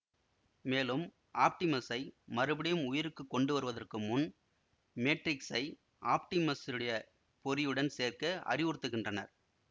மேலும் ஆப்டிமஸை மறுபடியும் உயிருக்கு கொண்டுவருவதற்கு முன் மேட்ரிக்ஸை ஆப்டிமஸுடைய பொறியுடன் சேர்க்க அறிவுறுத்துகின்றனர்